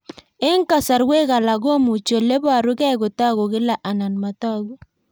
Eng'kasarwek alak komuchi ole parukei kotag'u kila anan matag'u